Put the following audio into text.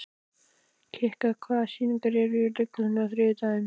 Kikka, hvaða sýningar eru í leikhúsinu á þriðjudaginn?